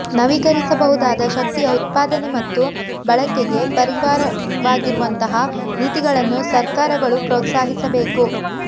ನವೀಕರಿಸಬಹುದಾದ ಶಕ್ತಿಯ ಉತ್ಪಾದನೆ ಮತ್ತು ಬಳಕೆಗೆ ಪರವಾಗಿರುವಂತಹ ನೀತಿಗಳನ್ನು ಸರ್ಕಾರಗಳು ಪ್ರೋತ್ಸಾಹಿಸಬೇಕು